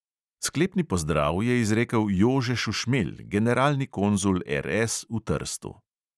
Sklepni pozdrav je izrekel jože šušmelj, generalni konzul RS v trstu.